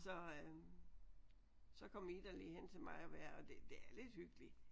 Så øh så kom Ida lige hen til mig at være og det er det er lidt hyggeligt